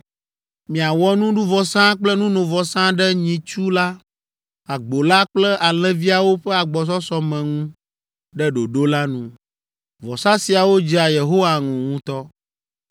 Miawɔ nuɖuvɔsa kple nunovɔsa ɖe nyitsu la, agbo la kple alẽviawo ƒe agbɔsɔsɔme ŋu ɖe ɖoɖo la nu. Vɔsa siawo dzea Yehowa ŋu ŋutɔ.